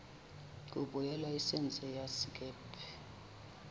kopo ya laesense ya sekepe